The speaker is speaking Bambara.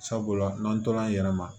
Sabula n'an tola an yɛrɛ ma